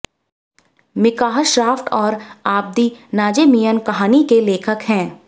मिकाह Schraft और Abdi Nazemian कहानी के लेखक हैं